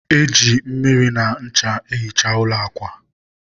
e ji mmiri na ncha ehicha ụlọ akwa